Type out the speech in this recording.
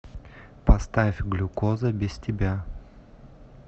поставь глюкоза без тебя